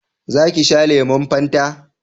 za ki sha lemun fanta?